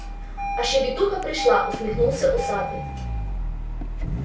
а щебетуха пришла усмехнулся усатый